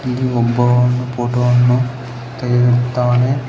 ಮತ್ತು ಇಲ್ಲಿ ಒಬ್ಬ ಫೋಟೋ ವನ್ನು ತೆಗೆಯುತ್ತಿದ್ದಾನೆ.